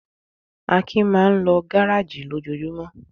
Akin máa ń lọ gárájì lójoojúmọ́.